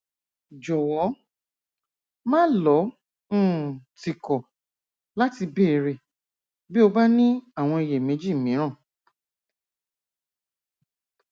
jọwọ máà lọ um tìkọ láti béèrè bí o bá ní àwọn iyèméjì mìíràn